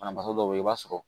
Banabagatɔ dɔw bɛ yen i b'a sɔrɔ